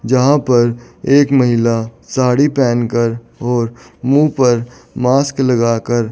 यहां पर एक महिला साड़ी पहन कर और मुंह पर मास्क लगा कर--